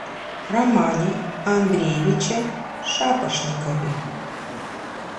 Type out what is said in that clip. романе андреевиче шапошникове